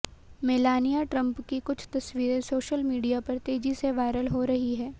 Melania Trump की कुछ तस्वीरे सोशल मीडिया पर तेजी से वायरल हो रही हैं